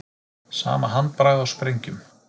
Sama handbragð á sprengjum